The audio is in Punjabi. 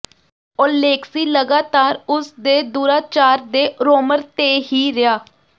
ਔਲੇਕਸੀ ਲਗਾਤਾਰ ਉਸ ਦੇ ਦੁਰਾਚਾਰ ਦੇ ਰੋਮਰ ਤੇ ਹੀ ਰਿਹਾ